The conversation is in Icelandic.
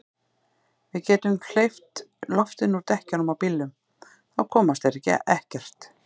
Við getum hleypt loftinu úr dekkjunum á bílnum. þá komast þeir ekkert.